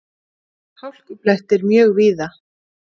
Hálkublettir mjög víða